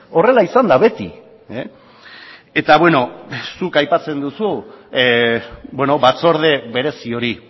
horrela izan da beti eta beno zuk aipatzen duzu batzorde berezi hori